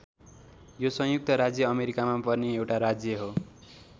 यो संयुक्त राज्य अमेरिकामा पर्ने एउटा राज्य हो।